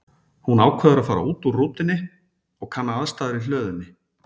Hún ákveður að fara út úr rútunni og kanna aðstæður í hlöðunni.